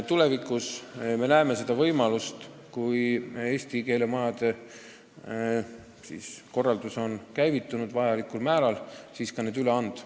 Tulevikus, kui eesti keele majade korraldus on vajalikul määral käivitunud, me näeme võimalust see õpe üle anda.